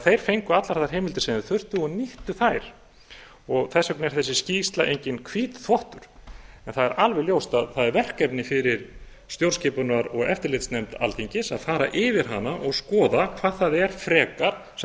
þeir fengu því allar þær heimildir sem þeir þurftu og nýttu þær þess vegna er þessi skýrsla enginn hvítþvottur en það er alveg ljóst að það er verkefni fyrir stjórnskipunar og eftirlitsnefnd alþingis að fara yfir hana og skoða hvað það er frekar sem